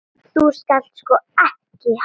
Þú skalt sko ekki halda.